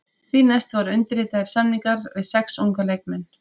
Því næst voru undirritaðir samningar við sex unga leikmenn.